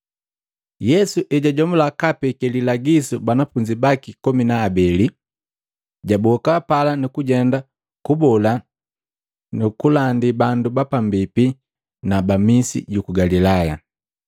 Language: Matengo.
Yesu ejajomula kaapeke lilagisu banafunzi komi na abeli, jaboka pala nukujenda kubola nu kulandi bandu na bapambipi na misi juku Galilaya.